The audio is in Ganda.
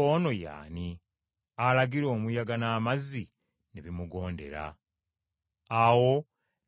Awo ne bagoba emitala w’eri mu nsi